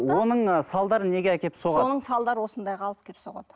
оның ы салдары неге әкеліп соғады соның салдары осындайға алып келіп соғады